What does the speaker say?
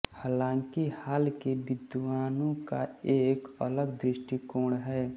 हालाँकि हाल के विद्वानों का एक अलग दृष्टिकोण है